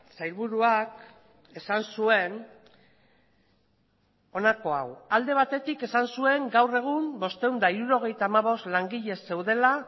sailburuak esan zuen honako hau alde batetik esan zuen gaur egun bostehun eta hirurogeita hamabost langile zeudela